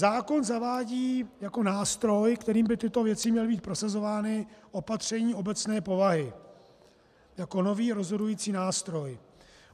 Zákon zavádí jako nástroj, kterým by tyto věci měly být prosazovány, opatření obecné povahy jako nový rozhodující nástroj.